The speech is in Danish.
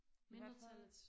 I hvert fald